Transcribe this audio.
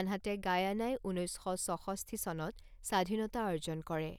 আনহাতে গায়ানাই ঊনৈছ শ ছষষ্ঠি চনত স্বাধীনতা অৰ্জন কৰে।